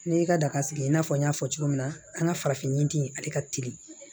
Ne y'i ka daga sigi i n'a fɔ n y'a fɔ cogo min na an ka farafin ɲinti ale ka teli